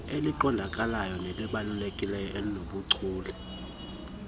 eliqondakalayo nelibalulekileyo obunobuchule